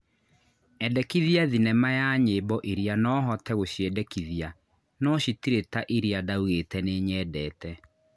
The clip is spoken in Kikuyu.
endekithia thĩnema ya nyĩmbo ĩrĩa no hote gũciendekithia no cĩtiiri ta iria ndaũgite nĩ nyendete